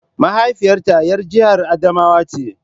Mahaifiyata ‘yar jihar Adamawa ce.